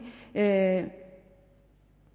at